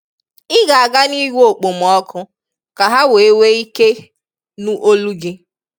ị ga-aga nigwe okpomọkụ ka ha wee nwee ike nụ olu gị